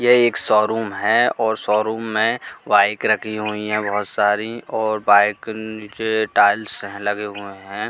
यह एक शोरूम है और शोरूम में बाइक रखी हुई है बहोत सारी और बाइक नीचे टाइल्स लगे हुए हैं।